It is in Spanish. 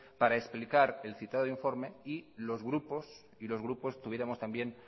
para explicar el citado informe y los grupos tuviéramos también